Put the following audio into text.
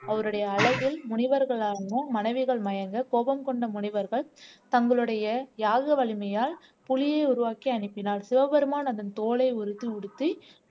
அவருடைய அழகில் முனிவர்களான மனைவிகள் மயங்க கோபம் கொண்ட முனிவர்கள் தங்களுடைய யாக வலிமையால் புலியை உருவாக்கி அனுப்பினார் சிவபெருமான் அதன் தோலை உருத்தி உடுத்தி